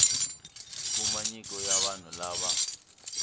kuma nyiko ya vanhu lava